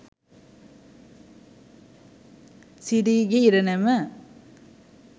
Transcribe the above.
sirige iranama